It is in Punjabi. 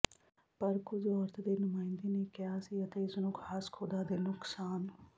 ਪਰ ਕੁਝ ਔਰਤ ਦੇ ਨੁਮਾਇੰਦੇ ਨੇ ਕਿਹਾ ਸੀ ਅਤੇ ਇਸ ਨੂੰ ਖਾਸ ਖ਼ੁਦਾ ਦੇ ਨੁਕਸਾਨ